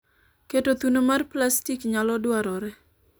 keto thuno mar plastik nyalo dwarore